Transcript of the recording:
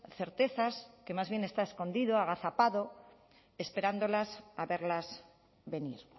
certezas que más bien está escondido agazapado esperándolas a verlas venir